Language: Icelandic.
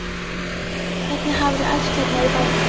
Hvernig hafiði æft hérna í bænum?